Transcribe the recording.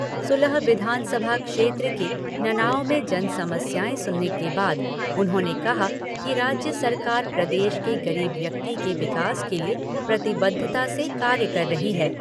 सुलह विधानसभा क्षेत्र के ननाओं में जनसमस्याएं सुनने के बाद उन्होंने कहा कि राज्य सरकार प्रदेश के गरीब व्यक्ति के विकास के लिए प्रतिबद्धता से कार्य कर रही है।